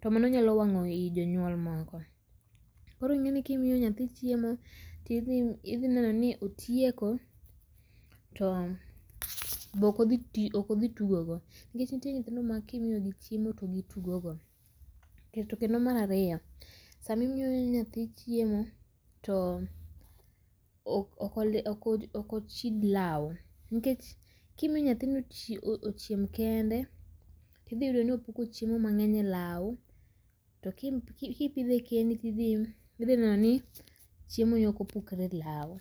to mano nyalo wang'o ii jonyuol moko. Koro inge ni kimiyo nyathi chiemo to idhi neno ni otieko to be ok modhi tugo go nikech nitie ma kimiyo gi chiemo to gi tugo go to kendo mar ariyo sama imiyo yathi chiemo to ok ochid lau. Nikech kimiyo nyathi ni ochiem kende to idhi yudo ni opuko chiemo mangeny e lau to kipidhe kendi to idhi neno ni chiemo ni ok opukre e lau.